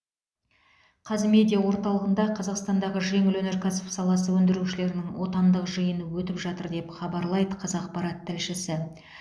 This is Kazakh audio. қазмедиа орталығында қазақстандағы жеңіл өнеркәсіп саласы өндірушілерінің отандық жиыны өтіп жатыр деп хабарлайды қазақпарат тілшісі